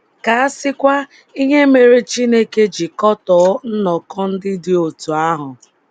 Ka a sịkwa ihe mere Chineke ji kọtọọ nnọkọ ndị dị otú ahụ.